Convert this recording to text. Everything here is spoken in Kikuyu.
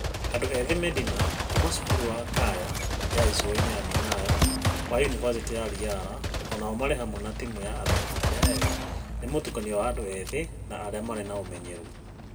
Andũ ethĩ Medina kuma cukuru wa Kaya ya Icũainĩ na Minayo wa Yunibasĩtĩ ya Riara o nao marĩ hamwe na timũ ya athaki arĩa ega nĩ mũtukanio wa andũ ethĩ na arĩa marĩ na ũmenyeru.